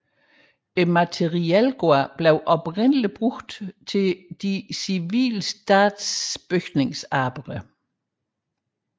Materielgården blev oprindeligt benyttet til statens civile bygningsarbejder